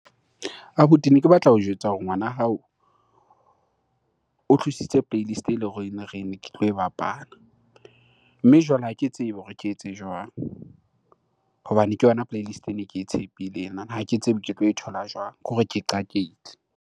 Abuti ne ke batla ho jwetsa hore ngwana wa hao o tlositse playlist eleng e bapala. Mme jwale ha ke tsebe hore ke etse jwang hobane ke yona playlist ene ke tshepile ena? Ha ke tsebe ke tlo e thola jwang? Ke hore ke qakehile.